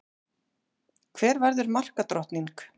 Hver verður markadrottning?